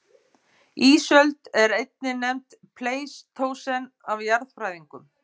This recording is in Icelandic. Ísöld er einnig nefnd pleistósen af jarðfræðingum.